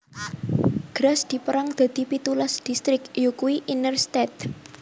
Graz dipérang dadi pitulas distrik yakuwi Innere Stadt